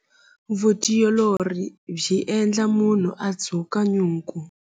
Vutiolori byi endla munhu a dzuka nyuku.